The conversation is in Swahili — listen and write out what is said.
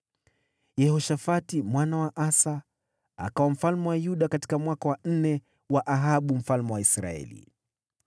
Yehoshafati mwana wa Asa akawa mfalme wa Yuda katika mwaka wa nne wa Ahabu mfalme wa Israeli.